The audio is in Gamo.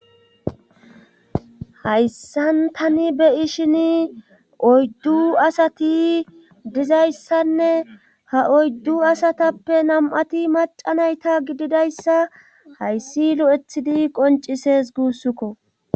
hayssan tani be ishin oyddu asati dizayssanne ha oyddu asatappe nam7ati macanayta gididayssa hayssi lo7ethidi qoncises guussukko